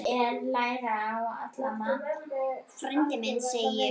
Frændi minn, segi ég.